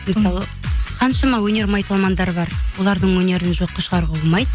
мысалы қаншама өнер майталмандар бар олардың өнерін жоққа шығаруға болмайды